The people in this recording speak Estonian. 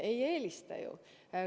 Ei eelista ju.